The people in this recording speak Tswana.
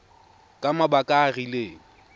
ka mabaka a a rileng